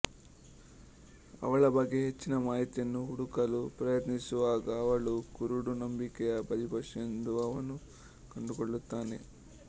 ಅವಳ ಬಗ್ಗೆ ಹೆಚ್ಚಿನ ಮಾಹಿತಿಯನ್ನು ಹುಡುಕಲು ಪ್ರಯತ್ನಿಸುವಾಗ ಅವಳು ಕುರುಡು ನಂಬಿಕೆಯ ಬಲಿಪಶು ಎಂದು ಅವನು ಕಂಡುಕೊಳ್ಳುತ್ತಾನೆ